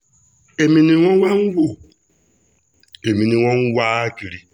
èmi ni wọ́n wá ń wo èmi ni wọ́n ń wá kiri